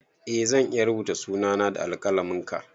Eh zan iya rubuta suna na da alƙalamin ka